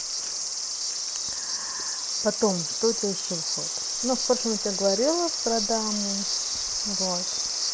потом что у тебя ещё входит но в прошлом я тебе говорила продам вот